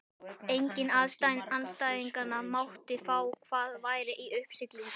Enginn andstæðinganna mátti fá hvað væri í uppsiglingu.